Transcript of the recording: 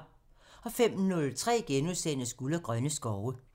05:03: Guld og grønne skove *(tir)